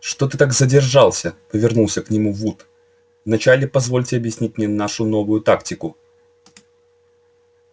что ты так задержался повернулся к нему вуд вначале позвольте объяснить мне нашу новую тактику